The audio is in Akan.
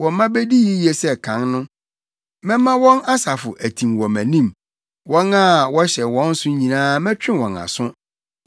Wɔn mma bedi yiye sɛ kan no, mɛma wɔn asafo atim wɔ mʼanim; wɔn a wɔhyɛ wɔn so nyinaa mɛtwe wɔn aso.